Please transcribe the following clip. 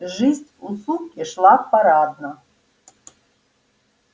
жизнь у суки шла парадно